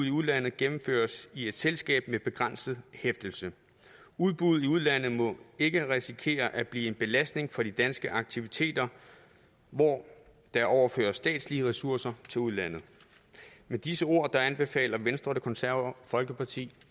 i udlandet gennemføres i et selskab med begrænset hæftelse udbuddet i udlandet må ikke risikere at blive en belastning for de danske aktiviteter hvor der overføres statslige ressourcer til udlandet med disse ord anbefaler venstre og det konservative folkeparti